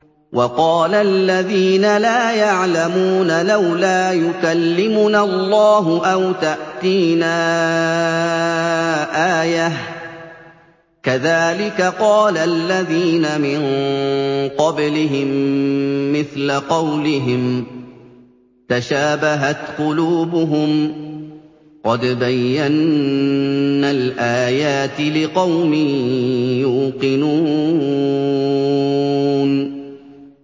وَقَالَ الَّذِينَ لَا يَعْلَمُونَ لَوْلَا يُكَلِّمُنَا اللَّهُ أَوْ تَأْتِينَا آيَةٌ ۗ كَذَٰلِكَ قَالَ الَّذِينَ مِن قَبْلِهِم مِّثْلَ قَوْلِهِمْ ۘ تَشَابَهَتْ قُلُوبُهُمْ ۗ قَدْ بَيَّنَّا الْآيَاتِ لِقَوْمٍ يُوقِنُونَ